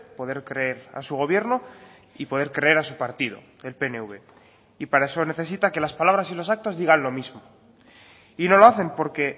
poder creer a su gobierno y poder creer a su partido el pnv y para eso necesita que las palabras y los actos digan lo mismo y no lo hacen porque